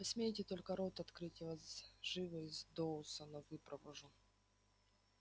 посмейте только рот открыть я вас живо из доусона выпровожу